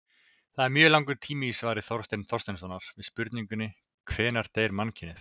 Það er mjög langur tími í svari Þorsteins Þorsteinssonar við spurningunni Hvenær deyr mannkynið?